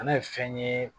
Kana ye fɛn ye